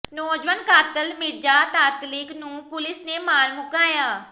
ਨੌਜਵਾਨ ਕਾਤਲ Mirza Tatlic ਨੂੰ ਪੁਲੀਸ ਨੇ ਮਾਰ ਮੁਕਾਇਆ